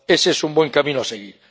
Ese es un buen camino a seguir.